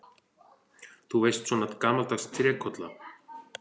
Þú veist, svona gamaldags trékolla.